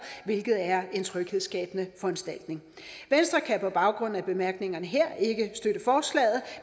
hvilket er en tryghedsskabende foranstaltning venstre kan på baggrund af bemærkningerne her ikke støtte forslaget